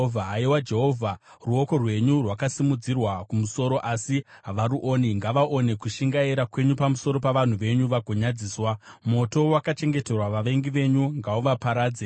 Haiwa Jehovha, ruoko rwenyu rwakasimudzirwa kumusoro, asi havaruoni. Ngavaone kushingaira kwenyu pamusoro pavanhu venyu vagonyadziswa; moto wakachengeterwa vavengi venyu ngauvaparadze.